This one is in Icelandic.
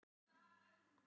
Þau voru samvalin hjón.